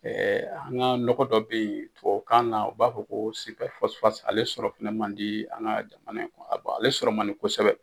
an ka nɔgɔ do bɛ yen tubabu kan na u b'a fɔ ko ale sɔrɔ fɛnɛ man di an ka jamana in, ale sɔrɔ man di kosɛbɛ.